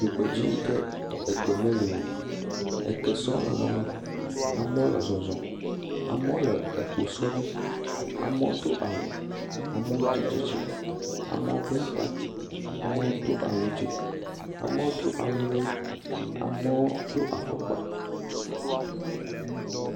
Dzogbedzi ke egbe meli o, eke sɔ lala ma, amewo le zɔzɔm, amewo le ekposɔ dzi, amewo do awu, amewo tsi atsitre, amewo bla ta, amewo do awu tso amewo do awu, amewo do afɔkpa.